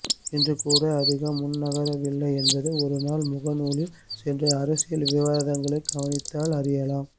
இன்றுகூட அதிகம் முன்னகரவில்லை என்பதை ஒருநாள் முகநூலில் சென்று அரசியல் விவாதங்களை கவனித்தால் அறியலாம்